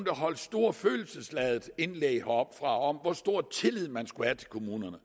holdt store følelsesladede indlæg heroppefra om hvor stor tillid man skulle have til kommunerne